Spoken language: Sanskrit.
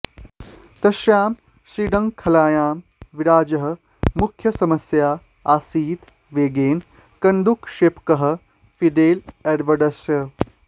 तस्यां श्रृङ्खलायां विराजः मुख्यसमस्या आसीत् वेगेन कन्दुकक्षेपकः फिडेल एडवर्ड्स्